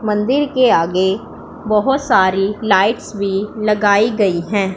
मंदिर के आगे बहोत सारी लाइट्स भी लगाई गई हैं।